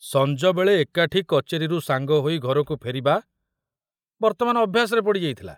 ସଞ୍ଜବେଳେ ଏକାଠି କଚେରୀରୁ ସାଙ୍ଗ ହୋଇ ଘରକୁ ଫେରିବା ବର୍ତ୍ତମାନ ଅଭ୍ୟାସରେ ପଡ଼ିଯାଇଥିଲା।